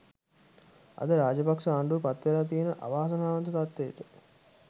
අද රාජපක්ෂ ආණ්ඩුව පත් වෙලා තියෙන අවාසනාවන්ත තත්වයට